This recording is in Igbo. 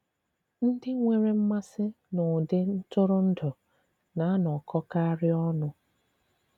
Ndị nwèrè mmasị n’ụ̀dị̀ ntụrụndụ na-anọkọ̀karị ọnụ.